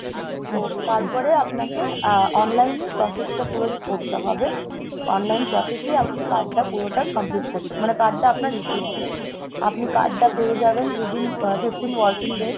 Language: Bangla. তারপরে আপনাকে আহ online এ process টা পুরো করতে হবে. online process এই আপনি card টা পুরোটা complete করতে মানে card টা আপনার issue হবে। আপনি card টা পেয়ে যাবেন। within fifteen working days